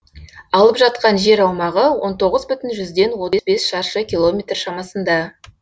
алып жатқан жер аумағы он тоғыз бүтін жүзден отыз бес шаршы километр шамасында